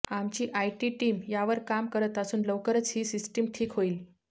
आमची IT team यावर काम करत असून लवकरच ही सिस्टम ठीक होईल